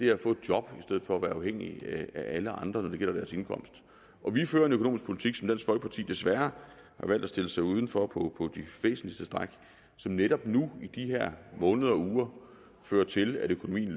er at få et job i stedet for at være afhængige af alle andre når det gælder deres indkomst vi fører en økonomisk politik som dansk folkeparti desværre har valgt at stille sig uden for på de væsentligste stræk og som netop nu i de her måneder og uger fører til at økonomien